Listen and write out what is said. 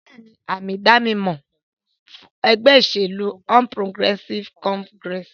Ìgbálẹ̀ ni àmì-ìdánimọ̀ ẹgbẹ́ ìṣèlú All Progressive Congress.